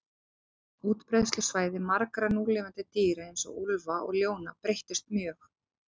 Útbreiðslusvæði margra núlifandi dýra, eins og úlfa og ljóna, breyttust mjög.